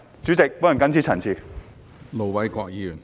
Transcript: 主席，我謹此陳辭。